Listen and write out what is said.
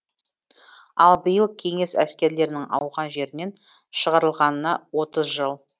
ал биыл кеңес әскерлерінің ауған жерінен шығарылғанына отыз жыл